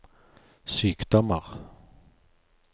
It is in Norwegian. sykdommer